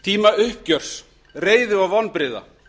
tíma uppgjörs reiði og vonbrigða